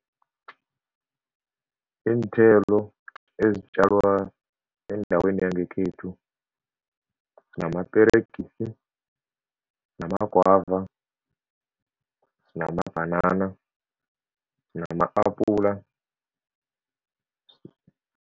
Iinthelo ezitjalwa endaweni yangekhethu sinamaperegisi, sinamagwava, sinamabhanana sinama-apula.